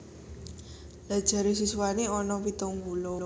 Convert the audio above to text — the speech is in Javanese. Lha jare siswane ono pitung puluh